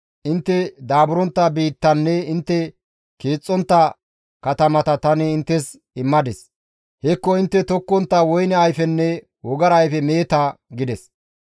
Intte daaburontta biittanne intte keexxontta katamata tani inttes immadis; hekko intte tokkontta woyne ayfenne wogara ayfe meeta› gides.